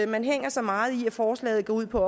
man hænger sig meget i at forslaget går på